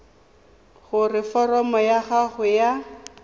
gore foromo ya gago ya